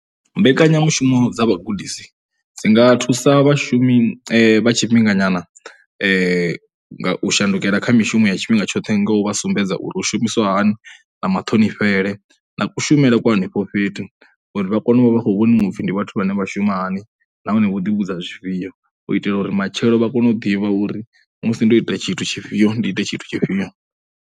Mbekanyamushumo dza vhagudisi dzi nga thusa vhashumi vha tshifhinganyana nga u shandukela kha mishumo ya tshifhinga tshoṱhe nga u vha sumbedza uri u shumiswa hani na maṱhonifhele na kushumele kwa henefho fhethu uri vha kone u vha vha khou vhoniwa u pfhi ndi vhathu vhane vha shuma hani nahone vho ḓivhudza zwifhio. U itela uri matshelo vha kone u ḓivha uri musi ndo ita tshithu tshifhio, ndo ita tshithu tshifhio.